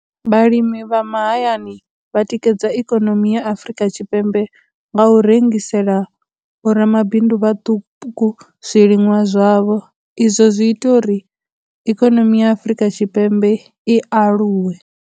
Vhalimi vha mahayani vha tikedza ikonomi ya Afurika Tshipembe nga u rengisela vhoramabindu vhaṱuku zwiliṅwa zwavho, izwo zwi ita uri ikonomi ya Afurika Tshipembe i aluwe.